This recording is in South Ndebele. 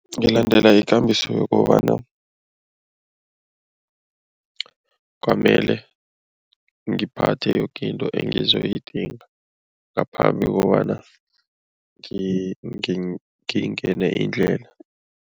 Ngilandela ikambiso yokobana kwamele ngiphathe yoke into engizoyidinga ngaphambi kokobana ngingene indlela.